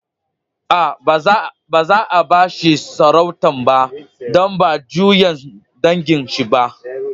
Aa, ba za'a ba shi sarautan ba, dan ba juyan dangin shi ba.